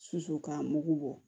Susu k'a mugu bɔ